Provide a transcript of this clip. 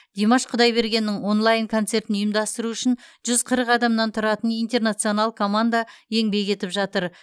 димаш құдайбергеннің онлайн концертін ұйымдастыру үшін жүз қырық адамнан тұратын интернационал команда еңбек етіп жатыр